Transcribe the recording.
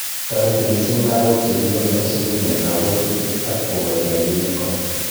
Toreti missing lagok chekikometo sukul eng kabwatutik ak kokochi rabiinik kora